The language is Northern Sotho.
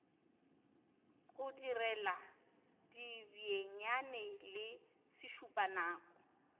go direla dibenyane le sešupanako